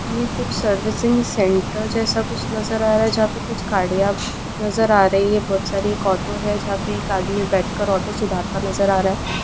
यह कुछ servicing centre जैसा कुछ नजर आ रहा है जहाँ पर कुछ गाड़िया नजर आ रही है बहुत सारी एक ऑटो है जहाँ पर एक आदमी बैठकर ऑटो सुधरता नजर आ रहा है।